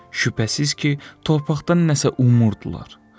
Şübhəsiz ki, torpaqdan nəsə umurdular.